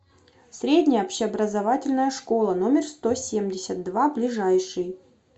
средняя общеобразовательная школа номер сто семьдесят два ближайший